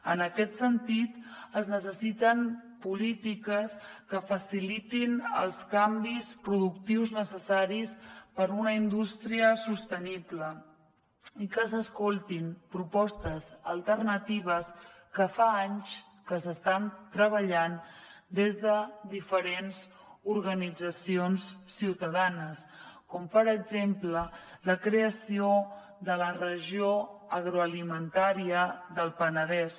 en aquest sentit es necessiten polítiques que facilitin els canvis productius necessaris per a una indústria sostenible i que s’escoltin propostes alternatives que fa anys que s’estan treballant des de diferents organitzacions ciutadanes com per exemple la creació de la regió agroalimentària del penedès